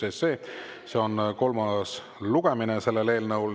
See on selle eelnõu kolmas lugemine.